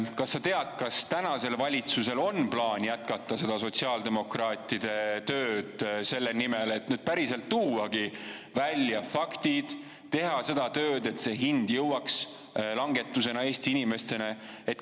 Kas sa tead, kas tänasel valitsusel on plaan jätkata seda sotsiaaldemokraatide tööd selle nimel, et päriselt tuuagi välja faktid, teha seda tööd, et see hind jõuaks langetusena Eesti inimesteni?